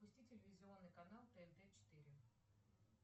запусти телевизионный канал тнт четыре